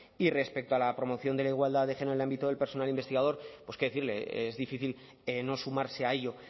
y respecto a la promoción de la igualdad de género en el ámbito del personal investigador pues qué decirle es difícil no sumarse a ello